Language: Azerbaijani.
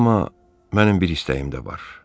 Amma mənim bir istəyim də var.